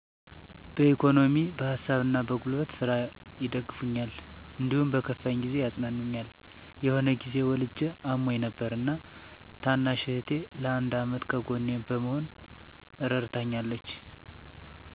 በኢኮኖሚ በሀሳብና በጉልበት ስራ ይደግፉኛል። እንዲሁም በከፋኝ ጊዜ ያፅናኑኛል። የሆነ ጊዜ ወልጀ አሞኝ ነበር እና ታናሽ እህቴ ለአንድ አመት ከጎኔ በመሆን እረድታኛለች።